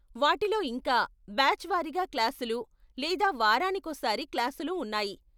వాటిలో ఇంకా, బ్యాచ్ వారీగా క్లాసులు లేదా వారానికోసారి క్లాసులు ఉన్నాయి.